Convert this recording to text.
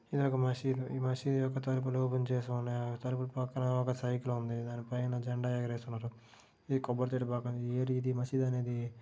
ఇది ఒక మసీదు ఈ మసీదు ఒక తలుపులు గుంజేసి ఉన్నాయి తలుపుల పక్కన ఒక సైకిల్ ఉంది దాని పైన జెండా ఎగరేసి ఉన్నారు. ఇది కొబ్బరి చెట్టు పక్కన ఏర్ ఇది మసీదు అనేది.